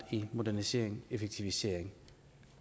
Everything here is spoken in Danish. til modernisering effektivisering